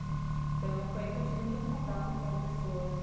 Então foi aí que eu tive muito contato com pessoas